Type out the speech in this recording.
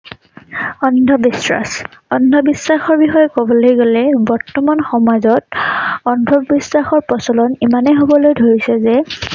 অন্ধ বিশ্বাস। অন্ধ বিশ্বাসৰ বিষয়েকবলৈ গলে বৰ্তমান সমাজত অন্ধ বিশ্বাসৰ প্ৰচলন ইমানেই হবলৈ ধৰিছে যে